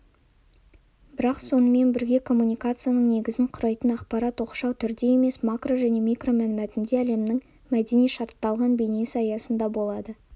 бірақ сонымен бірге коммуникацияның негізін құрайтын ақпарат оқшау түрде емес макро және микро мәнмәтінде әлемнің мәдени шартталған бейнесі аясында болады